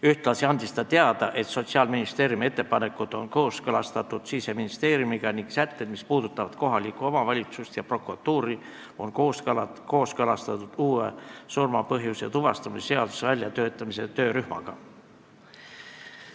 Ühtlasi andis ta teada, et Sotsiaalministeeriumi ettepanekud on kooskõlastatud Siseministeeriumiga ning sätted, mis puudutavad kohalikku omavalitsust ja prokuratuuri, on kooskõlastatud surma põhjuse tuvastamise uue seaduse väljatöötamise töörühmaga.